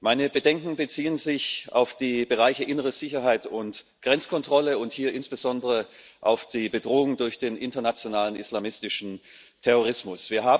Meine Bedenken beziehen sich auf die Bereiche innere Sicherheit und Grenzkontrolle und hier insbesondere auf die Bedrohung durch den internationalen islamistischen Terrorismus.